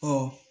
Ɔ